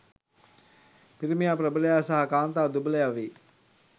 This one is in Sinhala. පිරිමියා ප්‍රබලයා සහ කාන්තාව දුබලයා වේ.